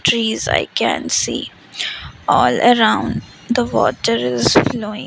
trees i can see all around the water is flowing.